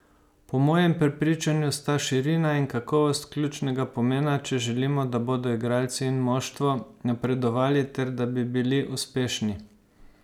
Po mojem prepričanju sta širina in kakovost ključnega pomena, če želimo, da bodo igralci in moštvo napredovali ter da bi bili uspešni.